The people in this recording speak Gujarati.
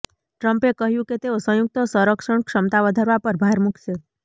ટ્રમ્પે કહ્યું કે તેઓ સંયુક્ત સંરક્ષણ ક્ષમતા વધારવા પર ભાર મૂકશે